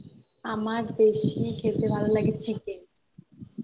আমার বেশি খেতে ভালো লাগে chicken